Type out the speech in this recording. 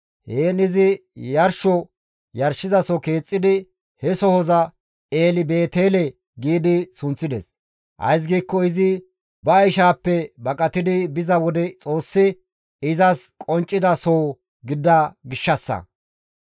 Heen izi yarsho yarshizaso keexxidi he sohoza Eli-Beetele gi sunththides; ays giikko izi ba ishaappe baqatidi biza wode Xoossi izas qonccida soho gidida gishshassa.